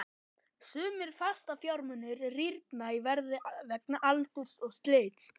Sumir fastafjármunir rýrna í verði vegna aldurs og slits.